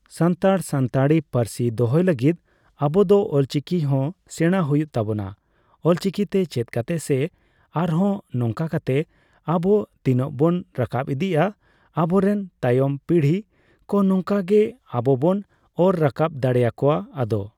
ᱥᱟᱱᱛᱟᱲ ᱥᱟᱱᱛᱟᱲᱤ ᱯᱟᱹᱨᱥᱤ ᱫᱚᱦᱚᱭ ᱞᱟᱹᱜᱤᱫ ᱟᱵᱚ ᱫᱚ ᱚᱞᱪᱤᱠᱤ ᱦᱚᱸ ᱥᱮᱬᱟᱭ ᱦᱩᱭᱩᱜ ᱛᱟᱵᱚᱱᱟ ᱾ ᱚᱞᱪᱤᱠᱤ ᱛᱮ ᱪᱮᱫ ᱠᱟᱛᱮ ᱥᱮ ᱟᱨ ᱦᱚᱸ ᱱᱚᱝᱟ ᱠᱟᱛᱮ ᱟᱵᱚ ᱛᱤᱱᱟᱹᱜ ᱵᱚᱱ ᱨᱟᱠᱟᱵ ᱤᱫᱤᱜᱼᱟ ᱟᱵᱚ ᱨᱮᱱ ᱛᱟᱭᱚᱢ ᱯᱤᱲᱦᱤ ᱠᱚ ᱱᱚᱝᱠᱟ ᱜᱮ ᱟᱵᱚ ᱵᱚᱱ ᱚᱨ ᱨᱟᱠᱟᱵ ᱫᱟᱲᱮᱭᱟᱠᱚᱣᱟ ᱾ ᱟᱫᱚ